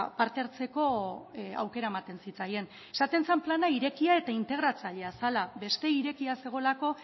parte hartzeko aukera ematen zitzaien esaten zen plana irekia eta integratzailea zela beste irekia zegoelako